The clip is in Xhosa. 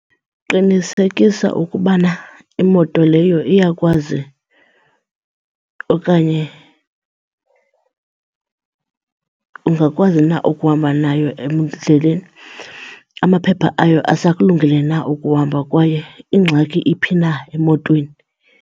Qinisekisa ukubana imoto leyo iyakwazi okanye ungakwazi na ukuhamba nayo endleleni, amaphepha ayo asakulungele na ukuhamba kwaye ingxaki iphi na emotweni.